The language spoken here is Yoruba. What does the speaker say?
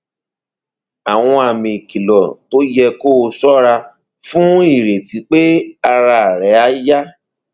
àwọn àmì ìkìlọ tó yẹ kó o ṣọra fún ìrètí pé ara rẹ á yá